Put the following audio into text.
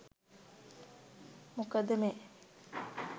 මොකද මේ